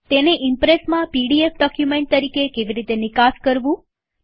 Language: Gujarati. તેને ઈમ્પ્રેસમાં પીડીએફ ડોક્યુમેન્ટ તરીકે કેવી રીતે નિકાસ કરવું